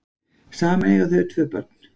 Saman eiga þau tvö börn